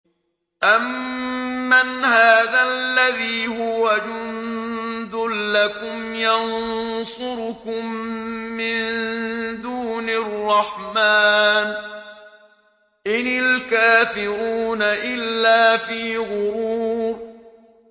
أَمَّنْ هَٰذَا الَّذِي هُوَ جُندٌ لَّكُمْ يَنصُرُكُم مِّن دُونِ الرَّحْمَٰنِ ۚ إِنِ الْكَافِرُونَ إِلَّا فِي غُرُورٍ